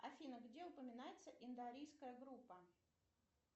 афина где упоминается индоарийская группа